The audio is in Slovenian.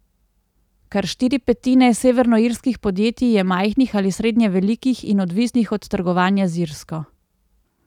Kar štiri petine severnoirskih podjetij je majhnih ali srednje velikih in odvisnih od trgovanja z Irsko.